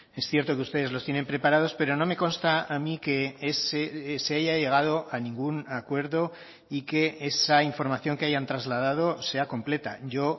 es cierto que ustedes los tienen preparados pero no me consta a mí que se haya llegado a ningún acuerdo y que esa información que hayan trasladado sea completa yo